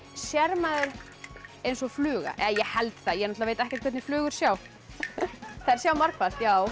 sér maður eins og fluga eða ég held það ég veit ekkert hvernig flugur sjá þær sjá margfalt já